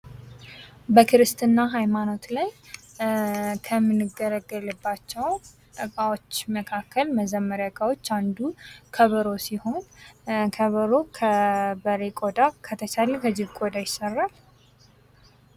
በክርስትና ሃይማኖት ላይ ከምንገልገልባቸው እቃዎች መካከል መዘመርያ ዕቃዋች አንዱ ከበሮ ሲሆን ከበሮ ከበሬ ቆዳ ከተቻለ ከጅብ ቆዳ ይሰራል።